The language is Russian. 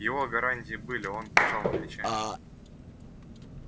его гарантии были он пожал плечами